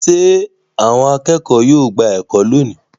Ṣé àwọn akẹ́kọ̀ọ́ yóò gba ẹ̀kọ́ lónìí?